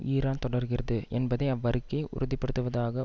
Iran தொடர்கிறது என்பதை அவ்வறிக்கை உறுதிப்படுத்துவதாக